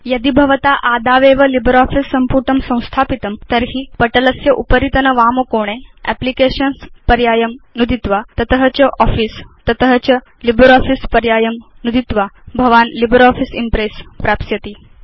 यदि भवता आदावेव लिब्रियोफिस सम्पुटं संस्थापितं तर्हि पटलस्य उपरितन वामकोणे एप्लिकेशन्स् पर्यायं नुदित्वा तत च आफिस तत च लिब्रियोफिस पर्यायं नुदित्वा भवान् लिब्रियोफिस इम्प्रेस् प्राप्स्यति